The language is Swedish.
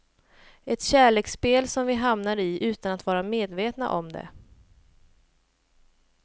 Ett kärleksspel som vi hamnar i utan att vara medvetna om det.